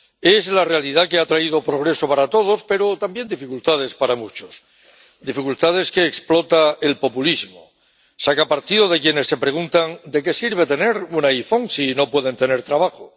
Es la realidad que ha traído progreso para todos, pero también dificultades para muchos, dificultades que explota el populismo saca partido de quienes se preguntan de qué sirve tener un iPhone si no pueden tener trabajo.